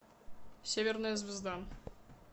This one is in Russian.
северная звезда